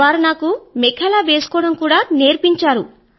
వారు నాకు మెఖేలా వేసుకోవడం కూడా నేర్పించారు